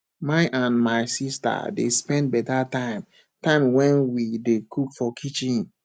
my and my sista dey spend beta time time wen we dey cook for kitchen